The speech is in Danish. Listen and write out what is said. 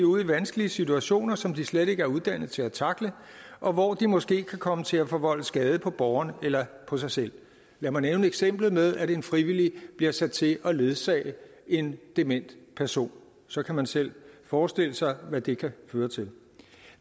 ud i vanskelige situationer som de slet ikke er uddannet til at tackle og hvor de måske kan komme til at forvolde skade på borgeren eller på sig selv lad mig nævne eksemplet med at en frivillig bliver sat til at ledsage en dement person så kan man selv forestille sig hvad det kan føre til